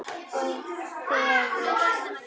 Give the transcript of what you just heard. Og fegurð.